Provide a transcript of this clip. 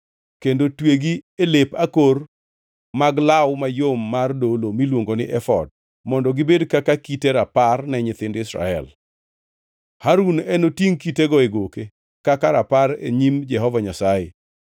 kendo twegi e lep akor mag law mayom mar dolo miluongo ni efod mondo gibed kaka kite rapar ne nyithind Israel. Harun enotingʼ kitego e goke kaka rapar e nyim Jehova Nyasaye.